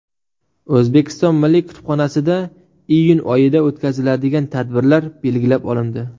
O‘zbekiston Milliy kutubxonasida iyun oyida o‘tkaziladigan tadbirlar belgilab olindi.